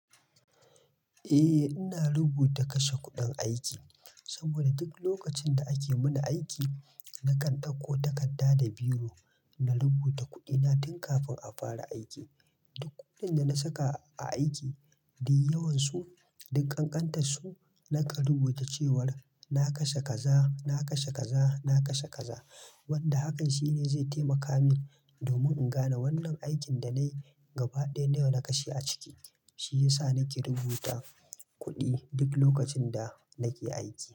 Eh, ina rubuta kashe kuɗin aiki saboda duk lokacin da ake mini aiki, nakan ɗauko takarda da biro na rubuta kuɗina tun kafin a fara aiki. Duk kuɗin da na saka a aiki, duk yawansu, duk ƙanƙantas su, nakan rubuta cewar na kashe kaza, na kashe kaza, na kashe kaza. Wanda hakan shi zai taimaka min domin in gane wannan aikin da nayi gabadaya nawa na kashe a cikin shi ya sa nake rubuta kuɗi duk lokacin da nake aiki.